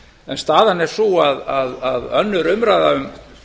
en staðan er sú að önnur umræða um